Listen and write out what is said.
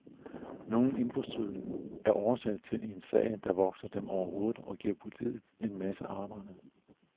Nogle indbrudstyve er årsag til en sag, der vokser dem over hovedet, og giver politiet en masse arbejde.